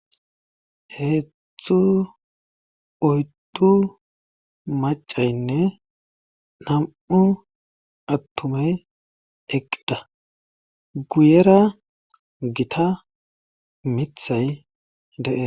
heezdzdu oyddu macaynne nam7u attumey eqida guyera gita mithay de7e